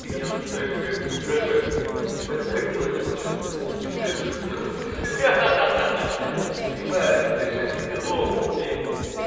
ты меня начинают блять раздражать мне так и хотелось вот сейчас пукнуть прям что бы все услышали ха-ха ебать не держи в себе зло пукни